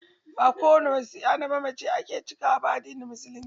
Ba ko wani wasiya na mamaci ake cikawa ba a addinin musulunci.